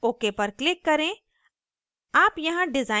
ok पर click करें